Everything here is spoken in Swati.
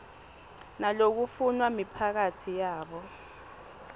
nalokufunwa miphakatsi yabo